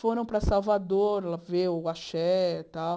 Foram para Salvador ver o axé e tal.